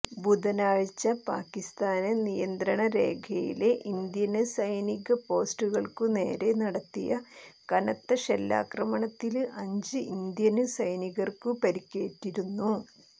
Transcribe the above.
ബുധനാഴ്ച പാക്കിസ്ഥാന് നിയന്ത്രണ രേഖയിലെ ഇന്ത്യന് സൈനിക പോസ്റ്റുകള്ക്കു നേരെ നടത്തിയ കനത്ത ഷെല്ലാക്രമണത്തില് അഞ്ച് ഇന്ത്യന് സൈനികര്ക്കു പരിക്കേറ്റിരുന്നു